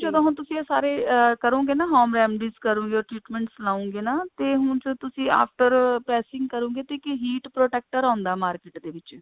ਜਦੋਂ ਹੁਣ ਤੁਸੀਂ ਸਾਰੇ ਕਰੋਗੇ ਨਾ home remedies ਕਰੋਗੇ treatments ਲਓਗੇ ਨਾ ਤੇ ਹੁਣ ਤੁਸੀਂ after pressing ਕਰੋਗੇ ਤਾਂ ਇੱਕ heat protector ਆਉਂਦਾ market ਵਿੱਚ